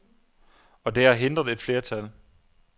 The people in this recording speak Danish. Og det har hindret et flertal.